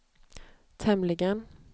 tämligen